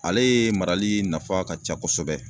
Alee marali nafa ka ca kosɛbɛ